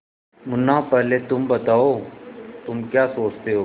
मुन्ना पहले तुम बताओ तुम क्या सोचते हो